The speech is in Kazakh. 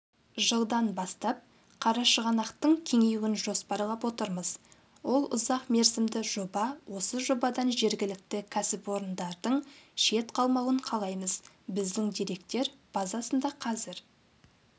жылдан бастап қарашығанақтың кеңеюін жоспарлап отырмыз ол ұзақ мерзімді жоба осы жобадан жергілікті кәсіпорындардың шет қалмауын қалаймыз біздің деректер базасында қазір